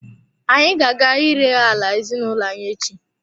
Anyị ga-aga ire ala ezinụlọ anyi echi.